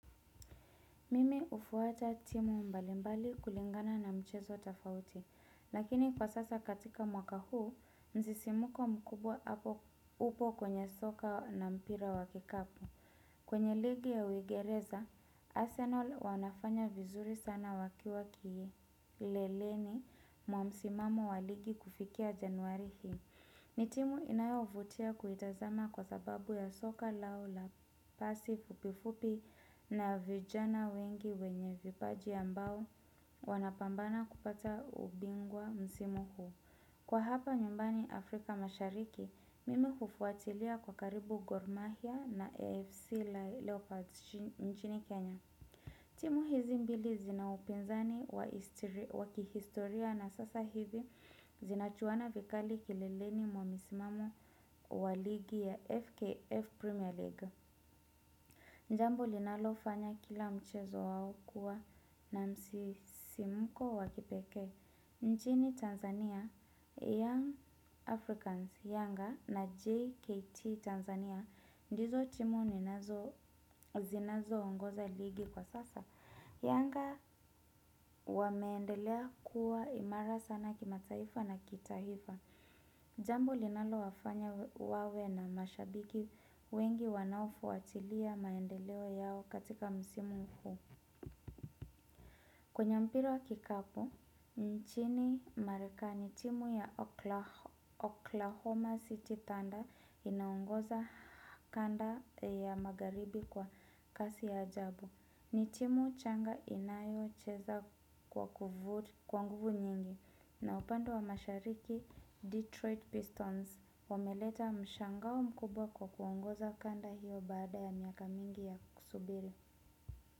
Mimi hufuata timu mbalimbali kulingana na mchezo tofauti. Lakini kwa sasa katika mwaka huu, msisimko mkubwa upo kwenye soka na mpira wa kikapu. Kwenye ligi ya uingereza, Arsenal wanafanya vizuri sana wakiwa kileleni mwa msimamo wa ligi kufikia januari hii. Ni timu inayovutia kuitazama kwa sababu ya soka lao la pasi fupifupi na vijana wengi wenye vipaji ambao wanapambana kupata ubingwa msimu huu. Kwa hapa nyumbani Afrika mashariki, mimi hufuatilia kwa karibu Gor Mahia na AFC Leopards nchini Kenya. Timu hizi mbili zina upinzani wa kihistoria na sasa hivi zinachuana vikali kilileni mwa msimamo wa ligi ya FKF Premier League. Jambo linalofanya kila mchezo wao kuwa na msisimko wa kipekee. Nchini Tanzania Young Africans, Yanga na JKT Tanzania ndizo timu zinazoongoza ligi kwa sasa. Yanga wameendelea kuwa imara sana kimataifa na kitaifa. Jambo linalowafanya wawe na mashabiki wengi wanaofuatilia maendeleo yao katika msimu huu. Kwenye mpira wa kikapu, nchini Marekani, timu ya Oklahoma City Thunder inaongoza kanda ya Magharibi kwa kasi ya ajabu. Ni timu changa inayocheza kwa nguvu nyingi na upande wa mashariki Detroit Pistons wameleta mshangao mkubwa kwa kuongoza kanda hiyo baada ya miaka mingi ya kusubiri.